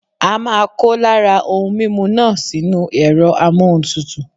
A máa kó lára ohun mímu náà sínú ẹ̀rọ amóhuntutù.